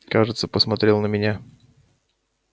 кажется посмотрел на меня